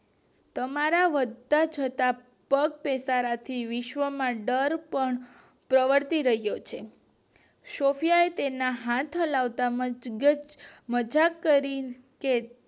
તમારા બધા જોતા પગપગાર થી વિશ્વ્ માં દર પણ પ્રવર્તી રહ્યો છે સૉફયાએ તેના હાથ હલાવતા મજાક કર્યો કે